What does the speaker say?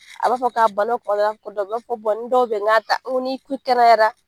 A b'a fɔ k'a bana kɔ dɔ bɛ ko ni dɔw bɛ yen nka ta ni k'i kɛnɛyara